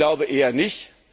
Ich glaube, eher